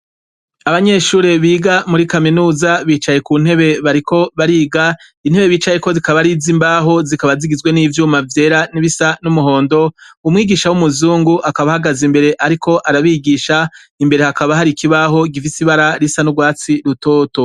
Abanyeshure biga muri kaminuza, bicaye ku ntebe bariko bariga, intebe bicayeko zikaba ariz'imbaho, zikaba zigizwe n'ivyuma vyera n'ibisa n'umuhondo, umwigisha w'umuzungu akaba ahagaze imbere ariko arabigisha. imbere hakaba hari ikibaho gisize n'ibara risa n'urwatsi rutoto.